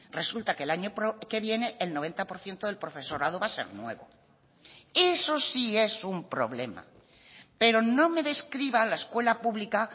resulta que el año que viene el noventa por ciento del profesorado va a ser nuevo eso sí es un problema pero no me describa la escuela pública